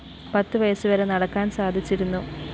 പത്ത് വയസ് വരെ നടക്കാന്‍ സാധിച്ചിരുന്നു